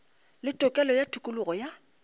le tokelo ya tokologo ya